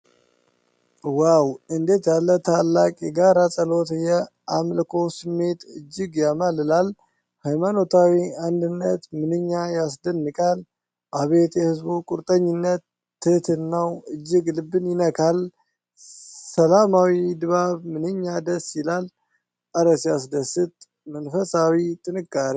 ዋው! እንዴት ያለ ታላቅ የጋራ ጸሎት! የአምልኮ ስሜት እጅግ ያማልላል። ሃይማኖታዊ አንድነት ምንኛ ያስደንቃል! አቤት የሕዝቡ ቁርጠኝነት! ትሕትናው እጅግ ልብን ይነካል። ሰላማዊ ድባብ ምንኛ ደስ ይላል! እረ ሲያስደስት! መንፈሳዊ ጥንካሬ!